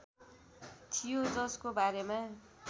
थियो जसको बारेमा